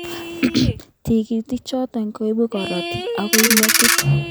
Tikitik chotok koibei karotik akoi metit.